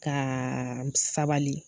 Kaaa sabali